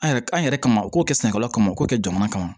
An yɛrɛ an yɛrɛ kama u k'o kɛ sɛnɛkɛlaw kama u k'o kɛ jamana kama